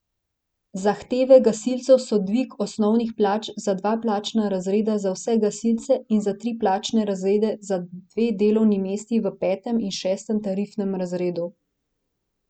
Zahteve gasilcev so dvig osnovnih plač za dva plačna razreda za vse gasilce in za tri plačne razrede za dve delovni mesti v petem in šestem tarifnem razredu.